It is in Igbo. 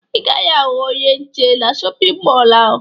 Ị gaghị ahụ onye nche na shọpịn mọọ ahụ